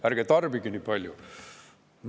Ärge tarbige nii palju!